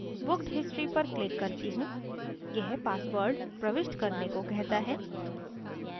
booked history पर click करती हूँ यह password प्रविष्ट करने को कहता है